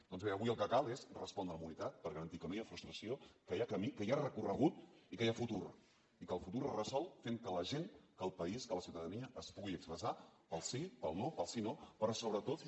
doncs bé avui el que cal és respondre amb unitat per garantir que no hi ha frustració que hi ha camí que hi ha recorregut i que hi ha futur i que el futur es resol fent que la gent que el país que la ciutadania es pugui expressar pel sí pel no pel síno però sobretot per